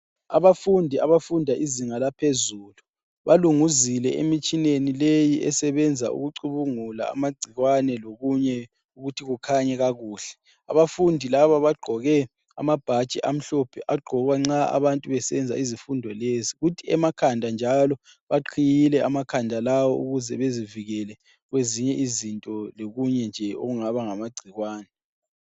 Abafundi abafunda izinga laphezulu, balunguzile emitshineni leyi esebenza ukucubungula amagcikwane lokunye ukuthi kukhanye kakuhle. Abafundi laba bagqoke amabhatshi amhlophe agqokwa nxa abantu besenza izifundo lezi. Kuthi emakhanda njalo baqhiyile emakhanda lawo ukuze bezivikele kwezinye izinto lokunye nje okungaba ngamagcikwane.